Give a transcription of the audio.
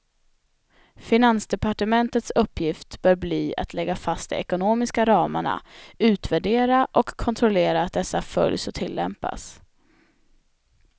Finansdepartementets uppgift bör bli att lägga fast de ekonomiska ramarna, utvärdera och kontrollera att dessa följs och tillämpas.